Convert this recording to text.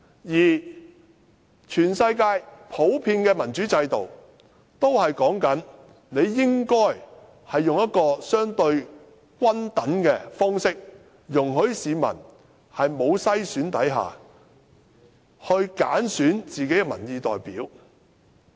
而全世界普遍的民主制度，都是採用一種相對均等的方式，容許市民在沒有篩選下，揀選自己的民意代表。